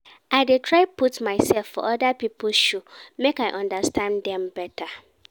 I dey try put mysef for oda pipo shoe make I understand dem beta.